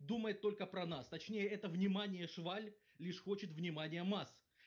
думает только про нас точнее это внимание шваль лишь хочет внимания масс